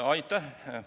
Aitäh!